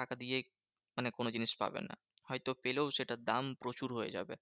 টাকা দিয়ে মানে কোনো জিনিস পাবে না। হয়তো পেলেও সেটার দাম প্রচুর হয়ে যাবে।